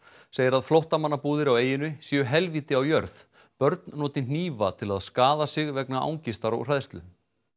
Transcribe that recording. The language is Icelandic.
segir að flóttamannabúðir á eyjunni séu helvíti á jörð börn noti hnífa til þess að skaða sig vegna angistar og hræðslu